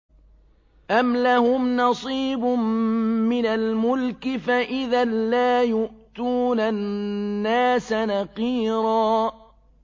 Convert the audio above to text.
أَمْ لَهُمْ نَصِيبٌ مِّنَ الْمُلْكِ فَإِذًا لَّا يُؤْتُونَ النَّاسَ نَقِيرًا